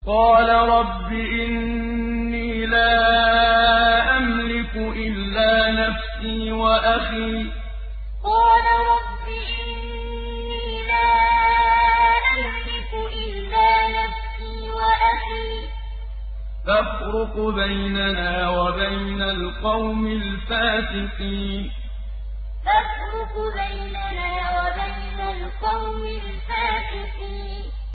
قَالَ رَبِّ إِنِّي لَا أَمْلِكُ إِلَّا نَفْسِي وَأَخِي ۖ فَافْرُقْ بَيْنَنَا وَبَيْنَ الْقَوْمِ الْفَاسِقِينَ قَالَ رَبِّ إِنِّي لَا أَمْلِكُ إِلَّا نَفْسِي وَأَخِي ۖ فَافْرُقْ بَيْنَنَا وَبَيْنَ الْقَوْمِ الْفَاسِقِينَ